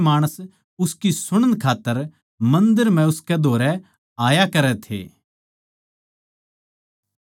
अर सबेरे नै तड़कै सारे माणस उसकी सुणन की खात्तर मन्दर म्ह उसकै धोरै आया करै थे